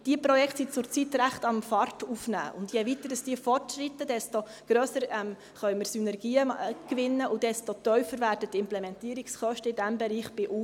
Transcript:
Diese Projekte nehmen derzeit ziemlich Fahrt auf, und je weiter sie fortschreiten, desto grössere Synergien können wir gewinnen und desto tiefer werden die Implementierungskosten in diesem Bereich bei UDR.